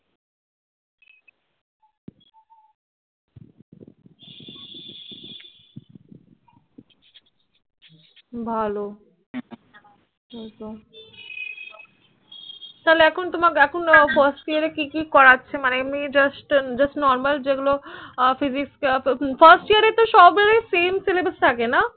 ভালো তাহলে এখন তাহলে First year এ কি কি করাছে মানে এমনি just normal যে গুলো আহ first year এ তো সব গুলো Same Syllabus থাকে না